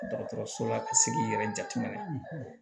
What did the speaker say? Dɔgɔtɔrɔso la ka se k'i yɛrɛ jateminɛ